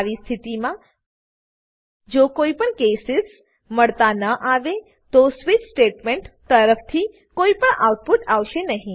આવી સ્થિતિમાં જો કોઈપણ કેસીસ કેસીસ મળતા ના આવે તો સ્વિચ સ્વીચ સ્ટેટમેંટ તરફથી કોઈપણ આઉટપુટ આવશે નહી